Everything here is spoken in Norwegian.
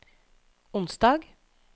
onsdag